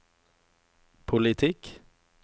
politikk